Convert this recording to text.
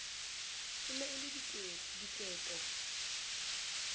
e ne e le diketo